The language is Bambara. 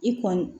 I kɔni